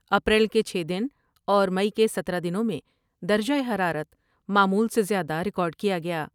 April کے چھ دن اور مئی کے ستارہ دنوں میں درجہ حرارت معمول سے زیادہ ریکارڈ کیا گیا ۔